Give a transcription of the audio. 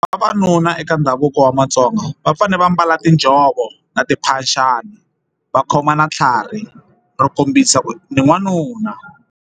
Vavanuna eka ndhavuko wa matsonga va fanele va mbala tinjhovo na timphaxani va khoma na tlhari ro kombisa ku ni n'wanuna.